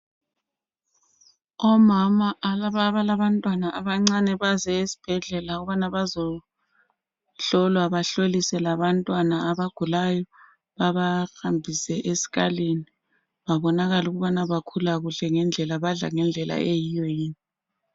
Omama abalabantwana abancane baze esibhedlela ukubana bazohlolwa, bahlolise labantwana abagulayo. Babahambise esikalini babonakale ukubana bakhula kuhle ngendlela, badla ngendlela eyiyo yini.